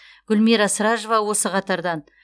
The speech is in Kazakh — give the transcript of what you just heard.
гүлмира сражова осы қатардан